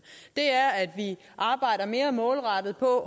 og arbejder mere målrettet på